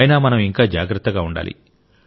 అయినా మనం ఇంకా జాగ్రత్తగా ఉండాలి